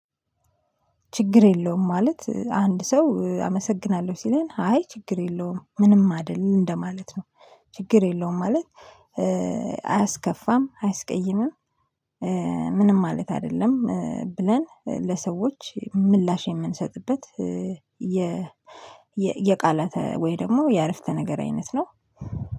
ችግር የለውም ማለት፣ አንድ ሰው አመሰግናለሁ ሲለን አይ ችግር የለውም ምንም አይደል እንደማለት ነው። ችግር የለውም ማለት፣ አያስከፋም፣ አያስቀይምም፣ ምንም ማለት አይደለም፣ ብለን ለሰዎች ምላሽ የምንሰጥበት የ የቃላት ወይ ደግሞ የአረፍተ ነገር አይነት ነው።